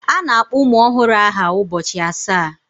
A na-akpọ ụmụ ọhụrụ aha ụbọchị asaa.